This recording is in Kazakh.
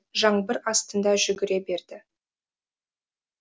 жаңбыр астында жүгіре берді